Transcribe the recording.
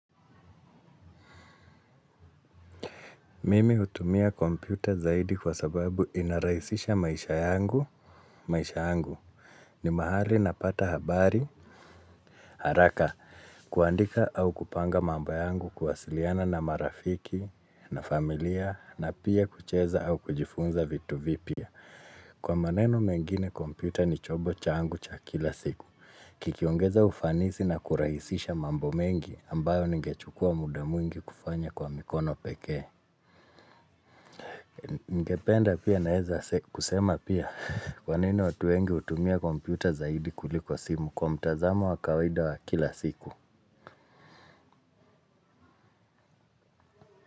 Mimi hutumia kompyuta zaidi kwa sababu inarahisisha maisha yangu, maisha yangu. Ni mahali napata habari. Haraka, kuandika au kupanga mambo yangu kuwasiliana na marafiki na familia na pia kucheza au kujifunza vitu vipya. Kwa maneno mengine kompyuta ni chombo changu cha kila siku. Kikiongeza ufanisi na kurahisisha mambo mengi ambayo nigechukua muda mwingi kufanya kwa mikono pekee. Ningependa pia naeza kusema pia kwa nini watu wengi hutumia kompyuta zaidi kuliko simu kwa mtazamo wa kawaida wa kila siku.